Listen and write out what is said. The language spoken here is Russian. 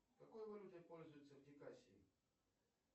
какой валютой пользуются в дикасии